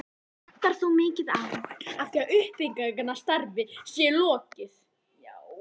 Vantar þó mikið á, að því uppbyggingarstarfi sé lokið.